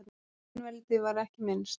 Á einveldi var ekki minnst.